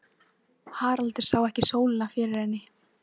Haraldur sá ekki sólina fyrir henni.